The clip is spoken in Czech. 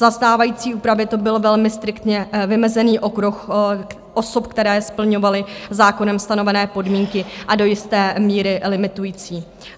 Za stávající úpravy to byl velmi striktně vymezený okruh osob, které splňovaly zákonem stanovené podmínky, a do jisté míry limitující.